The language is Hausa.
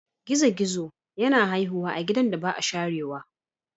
Gizo-gizo yana haihuwa a gidan da ba a sharewa.